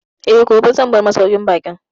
Eh, gobe zan bar masauƙin baƙin